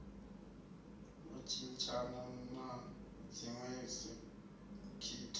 u tshintshana na dziwe sekitha